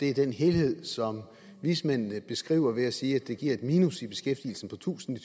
er den helhed som vismændene beskriver ved at sige at det giver et minus i beskæftigelsen på tusind i